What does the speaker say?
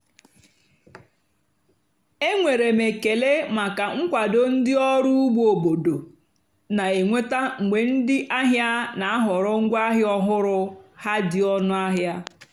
énwèrè m ékélè màkà nkwàdó ndí ọ́rụ́ ùgbó óbòdò nà-ènwètá mgbe ndí àhìá nà-àhọ̀rọ́ ngwáàhịá ọ́hụ́rụ́ há dì ónú àhịá.